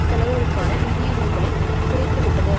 செலவுகளுக்கான நிதியுதவிகளைக் குறைத்துவிட்டது